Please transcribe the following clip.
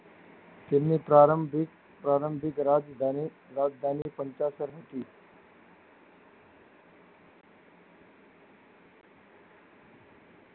તેમનો પ્રારભ પ્રારંભિક રાજધાની રાજધાની પંચાસર હતી.